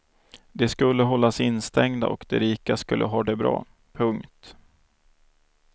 De skulle hållas instängda och de rika skulle ha det bra. punkt